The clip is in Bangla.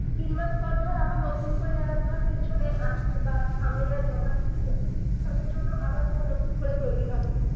তিন মাস পর ধর আবার নতুন করে যারা ধর পেছনে আছে বা সামনে যারা জমা দিচ্ছে তাদের জন্য আবার নতুন করে তৈরি হবে